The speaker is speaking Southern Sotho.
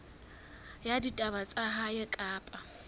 ya ditaba tsa lehae kapa